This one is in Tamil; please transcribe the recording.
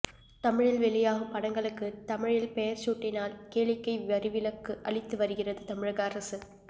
தமிழில் வெளியாகும் படங்களுக்குத் தமிழில் பெயர் சூட்டினால் கேளிக்கை வரி விலக்கு அளித்து வருகிறது தமிழக அரசு